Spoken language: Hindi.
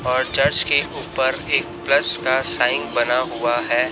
और चर्च के उपर एक प्लस का साइन बना हुआ है।